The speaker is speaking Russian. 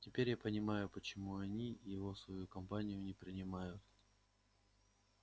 теперь я понимаю почему они его в свою компанию не принимают